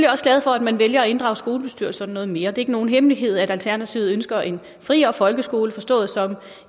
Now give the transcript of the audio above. også glade for at man vælger at inddrage skolebestyrelserne noget mere det er ikke nogen hemmelighed at alternativet ønsker en friere folkeskole forstået som